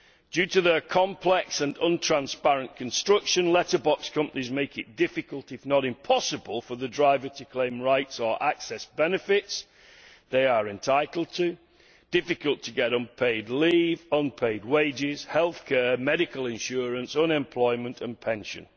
Due to their complex and untransparent construction, letterbox companies make it difficult if not impossible for the driver to claim rights or access benefits to which they are entitled, and it is difficult to get unpaid leave, unpaid wages, health care, medical insurance, unemployment and pensions.